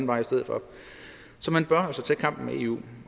vej i stedet for så man bør altså tage kampen med eu